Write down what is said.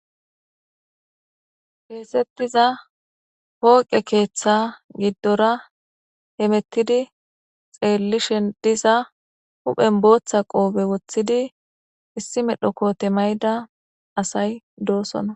keexettiza pooqe keeththa giddora hemettidi xeellishen diza huphen booththa qoobe woththidi issi medho koote mayda asay doosona